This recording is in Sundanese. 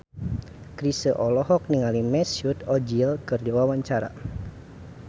Chrisye olohok ningali Mesut Ozil keur diwawancara